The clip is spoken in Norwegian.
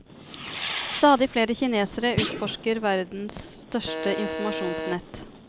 Stadig flere kinesere utforsker verdens største informasjonsnett.